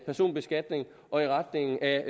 personbeskatning og i retning af